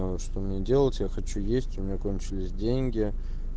что мне делать я хочу есть у меня кончились деньги